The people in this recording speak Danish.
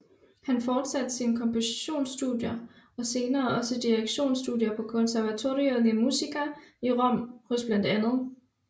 Han forsatte sine kompositions studier og senere også direktions studier på Conservatorio di Musica i Rom hos bla